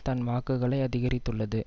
தன் வாக்குகளை அதிகரித்துள்ளது